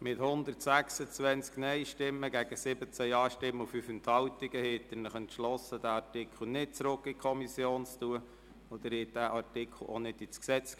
Sie haben mit 126 Nein- gegen 17 Ja-Stimmen bei 5 Enthaltungen beschlossen, diesen Artikel nicht in die Kommission zurückzuschicken.